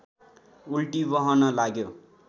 उल्टी बहन लाग्यो